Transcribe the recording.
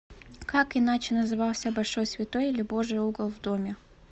как иначе назывался большой святой или божий угол в доме